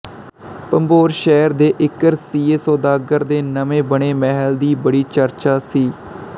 ਭੰਬੋਰ ਸ਼ਹਿਰ ਦੇ ਇੱਕ ਰਸੀਏ ਸੌਦਾਗਰ ਦੇ ਨਵੇਂ ਬਣੇ ਮਹਿਲ ਦੀ ਬੜੀ ਚਰਚਾ ਸੀ